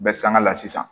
Bɛ sanga la sisan